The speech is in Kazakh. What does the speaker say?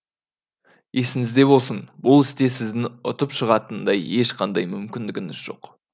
есіңізде болсын бұл істе сіздің ұтып шығатындай ешқандай мүмкіндігіңіз жоқ